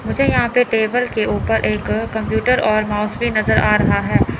मुझे यहां पे टेबल के ऊपर एक कंप्यूटर और माउस भी नजर आ रहा है।